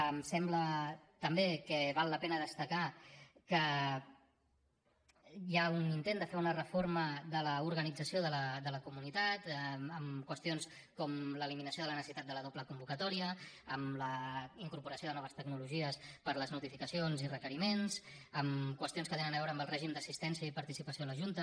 em sembla també que val la pena destacar que hi ha un intent de fer una reforma de l’organització de la comunitat amb qüestions com l’eliminació de la necessitat de la doble convocatòria amb la incorporació de noves tecnologies per a les notificacions i requeriments amb qüestions que tenen a veure amb el règim d’assistència i participació a la junta